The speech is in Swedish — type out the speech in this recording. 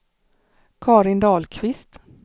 Karin Dahlqvist